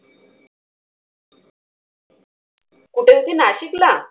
कुठे होती नाशिकला?